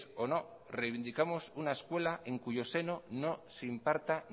o no reivindicamos una escuela en cuyo seno no se imparta